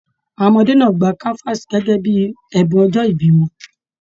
Àwọn ọmọdé náà gbà kanvaasi gẹgẹ bíi ẹbùn ọjọ ìbí wọn.